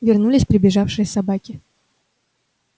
вернулись прибежавшие собаки